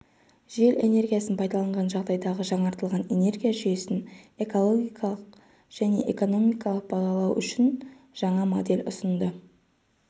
жел энергиясын пайдаланған жағдайдағы жаңартылатын энергия жүйесін экологиялық және экономикалық бағалау үшін жаңа модель ұсынды